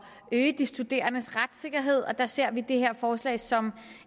at øge de studerendes retssikkerhed og der ser vi det her forslag som